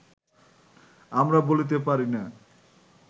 আমরা বলিতে পারি না